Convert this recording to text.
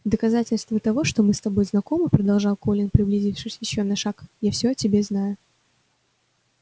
в доказательство того что мы с тобой знакомы продолжал колин приблизившись ещё на шаг я все о тебе знаю